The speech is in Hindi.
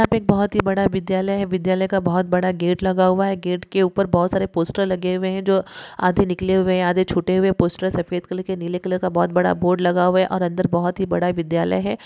यहाँ पर एक बहुत ही बड़ा विद्यालय है| विद्यालय का बहुत बड़ा गेट लगा हुआ है गेट के ऊपर बहुत सारे पोस्टर लगे हुए है जो आधे निकले हुए है आधे छुटे हुए है पोस्टर सफेद के नीले कलर का बहुत बड़ा बोर्ड लगा हुआ है और अंदर बहुत ही बड़ा विद्यालय है।